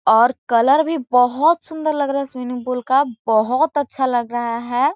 और कलर भी बोहत सुन्दर लग रहा है स्विमिंग पूल का बोहत अच्छा लग रहा है।